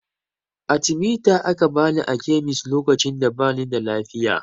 Atimita aka bani a kemis lokacin da bani da lafiya